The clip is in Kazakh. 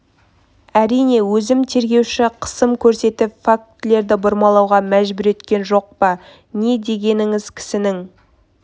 әрине өзім тергеуші қысым көрсетіп фактілерді бұрмалауға мәжбүр еткен жоқ па не дегеніңіз кісінің